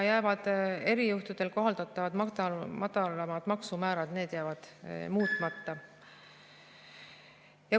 Erijuhtudel kohaldatavad madalamad maksumäärad jäävad muutmata.